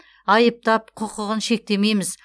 айыптап құқығын шектемейміз